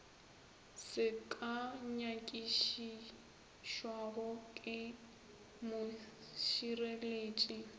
se ka nyakišišwago ke mošireletši